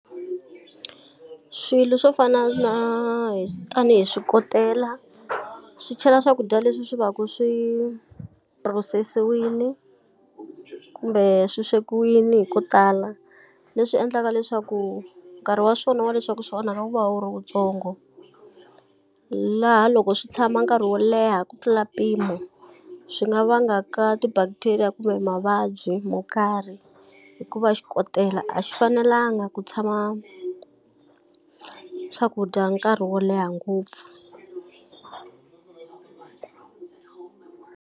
Swilo swo fana na hi tanihi swikotela, swi chela swakudya leswi swi va ku swi phurosisiwile kumbe swi swekiwile hi ko tala, leswi endlaka leswaku nkarhi wa swona wa leswaku swi onhaka wu va wu ri wuntsongo. Laha loko swi tshama nkarhi wo leha ku tlula mpimo swi nga vangaka ti-bacteria kumbe mavabyi mo karhi, hikuva xikotela a xi fanelangi ku tshama swakudya nkarhi wo leha ngopfu.